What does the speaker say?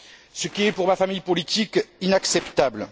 ce qui est, pour ma famille politique, inacceptable.